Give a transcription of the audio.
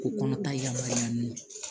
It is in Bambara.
K'u kɔnɔ ta yamaruya n'u ye